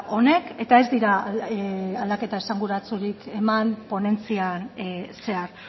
honek eta ez dira aldaketa esanguratsurik eman ponentzian zehar